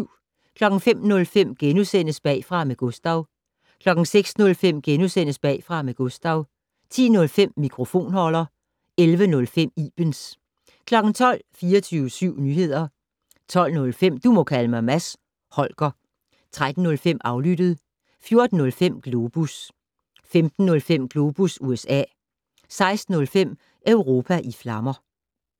05:05: Bagfra med Gustav * 06:05: Bagfra med Gustav * 10:05: Mikrofonholder 11:05: Ibens 12:00: 24syv Nyehder 12:05: Du må kalde mig Mads Holger 13:05: Aflyttet 14:05: Globus 15:05: Globus USA 16:05: Europa i flammer